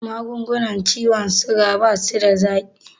Magungunan ciwon suga basuda zaƙi